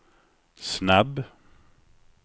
snabb